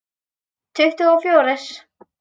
Tuttugu og fjórir.